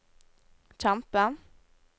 kjempe